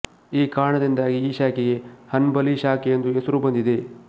ಈ ಕಾರಣದಿಂದಾಗಿ ಈ ಶಾಖೆಗೆ ಹನ್ಬಲಿ ಶಾಖೆ ಎಂದು ಹೆಸರು ಬಂದಿದೆ